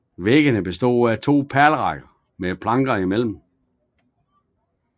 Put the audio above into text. Væggene bestod af to pælerækker med planker imellem